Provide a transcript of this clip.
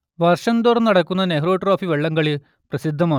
വർഷം തോറും നടക്കുന്ന നെഹ്രു ട്രോഫി വള്ളംകളി പ്രസിദ്ധമാണ്